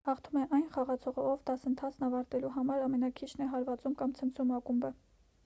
հաղթում է այն խաղացողը ով դասընթացն ավարտելու համար ամենաքիչն է հարվածում կամ ցնցում ակումբը